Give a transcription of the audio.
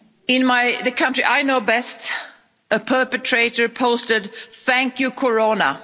In the country I know best, a perpetrator posted, Thank you, Corona.